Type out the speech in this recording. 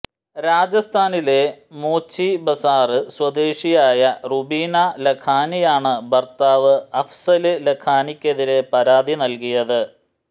രാജസ്ഥാനിലെ മോചി ബസാര് സ്വദേശിയായ റുബിനാ ലഖാനിയാണ് ഭര്ത്താവ് അഫ്സല് ലഖാനിക്കെതിരെ പരാതി നല്കിയത്